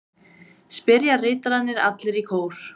spyrja ritararnir allir í kór.